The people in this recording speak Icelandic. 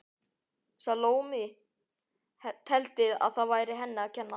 Salóme teldi að það væri henni að kenna.